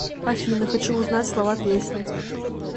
афина хочу узнать слова песни